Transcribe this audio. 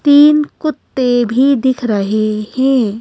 तीन कुत्ते भी दिख रहे हैं।